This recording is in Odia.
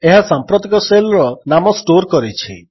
ଏହା ସାମ୍ପ୍ରତିକ ଶେଲ୍ ର ନାମ ଷ୍ଟୋର୍ କରିଛି